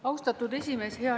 Austatud esimees!